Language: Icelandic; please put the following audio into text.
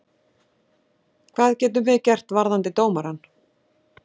Hvað getum við gert varðandi dómarann?